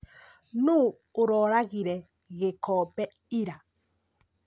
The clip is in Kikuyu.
Nũũ ũroragire gĩkombe ira?